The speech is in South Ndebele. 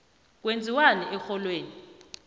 kwenziwani erholweni